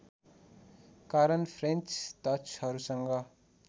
कारण फ्रेन्च डचहरूसँग